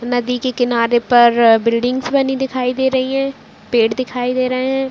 नदी के किनारे पर बिल्डिंग्स बनी दिखाई दे रही है पेड़ दिखाई दे रहे है।